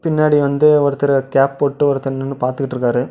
பின்னாடி வந்து ஒருத்தரு கேப் போட்டு ஒருத்தர் நின்னு பாத்துட்டுருக்காரு.